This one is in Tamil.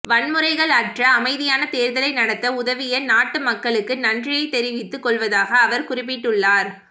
வன்முறைகள் அற்ற அமைதியான தேர்தலை நடத்த உதவிய நாட்டு மக்களுக்கு நன்றியை தெரிவித்துக் கொள்வதாக அவர் குறிப்பிட்டுள்ளார்